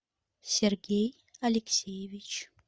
сергей алексеевич